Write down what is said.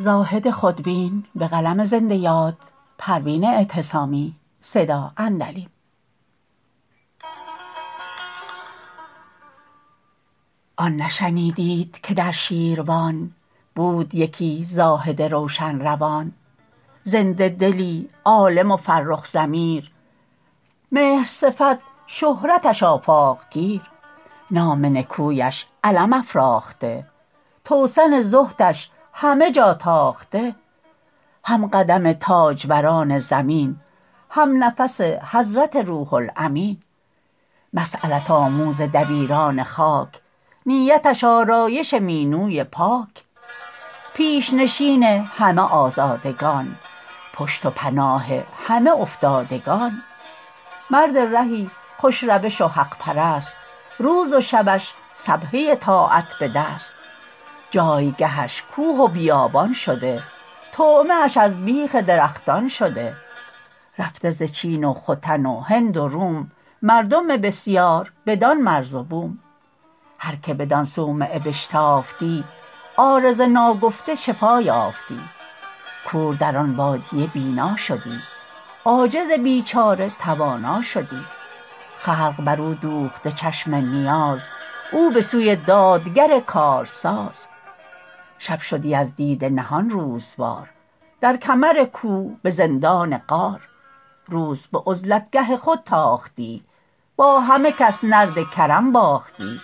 آن نشنیدید که در شیروان بود یکی زاهد روشن روان زنده دلی عالم و فرخ ضمیر مهر صفت شهرتش آفاق گیر نام نکویش علم افراخته توسن زهدش همه جا تاخته همقدم تاجوران زمین همنفس حضرت روح الامین مسیلت آموز دبیران خاک نیتش آرایش مینوی پاک پیش نشین همه آزادگان پشت و پناه همه افتادگان مرد رهی خوش روش و حق پرست روز و شبش سبحه طاعت بدست جایگهش کوه و بیابان شده طعمه اش از بیخ درختان شده رفته ز چین و ختن و هند و روم مردم بسیار بدان مرز و بوم هر که بدان صومعه بشتافتی عارضه ناگفته شفا یافتی کور در آن بادیه بینا شدی عاجز بیچاره توانا شدی خلق بر او دوخته چشم نیاز او بسوی دادگر کار ساز شب شدی از دیده نهان روز وار در کمر کوه بزندان غار روز بعزلتگه خود تاختی با همه کس نرد کرم باختی